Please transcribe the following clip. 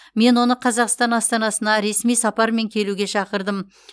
мен оны қазақстан астанасына ресми сапармен келуге шақырдым